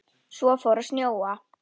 Svo fór að snjóa.